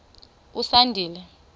usandile